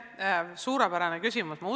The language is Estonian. Suurepärane küsimus!